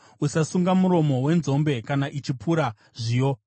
Usasunga muromo wenzombe kana ichipura zviyo.